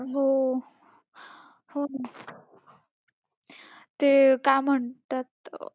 हो. हो ना, ते काय म्हणतात,